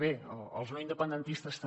bé els no independentistes també